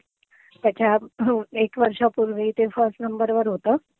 त्याच्यात एक वर्षापूर्वी ते फर्स्ट नंबर वर होतं.